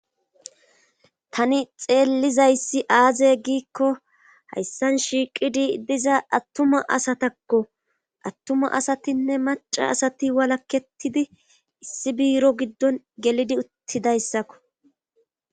tani xeellizayssi aaze giikko hayssan shiiqidi diza attuma asatakko attuma asatinne maca asati walakketidi issi biiro giddon gelidi uttidayssakko